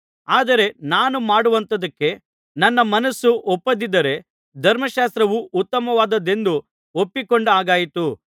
ಆದರೆ ನಾನು ಮಾಡುವಂಥದಕ್ಕೆ ನನ್ನ ಮನಸ್ಸು ಒಪ್ಪದಿದ್ದರೆ ಧರ್ಮಶಾಸ್ತ್ರವು ಉತ್ತಮವಾದದ್ದೆಂದು ಒಪ್ಪಿಕೊಂಡ ಹಾಗಾಯಿತು